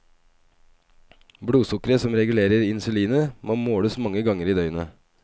Blodsukkeret som regulerer insulinet, må måles mange ganger i døgnet.